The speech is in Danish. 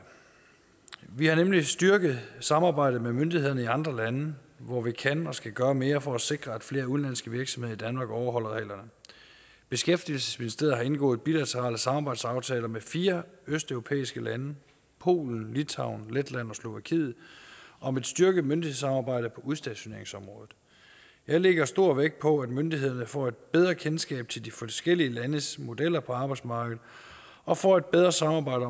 vi har nemlig styrket samarbejdet med myndighederne i andre lande hvor vi kan og skal gøre mere for at sikre at flere udenlandske virksomheder i danmark overholder reglerne beskæftigelsesministeriet har indgået bilaterale samarbejdsaftaler med fire østeuropæiske lande polen litauen letland og slovakiet om et styrket myndighedssamarbejde på udstationeringsområdet jeg lægger stor vægt på at myndighederne får et bedre kendskab til de forskellige landes modeller for arbejdsmarkedet og får et bedre samarbejde